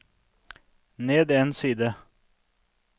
ned en side